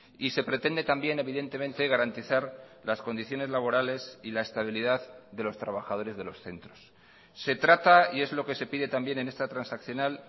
y se pretende también evidentemente garantizar las condiciones laborales y la estabilidad de los trabajadores de los centros se trata y es lo que se pide también en esta transaccional